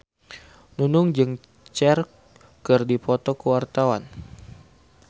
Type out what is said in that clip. Nunung jeung Cher keur dipoto ku wartawan